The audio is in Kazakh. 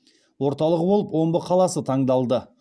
орталығы болып омбы қаласы таңдалды